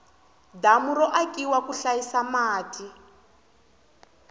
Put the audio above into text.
damu ro akiwa ku hlayisa mati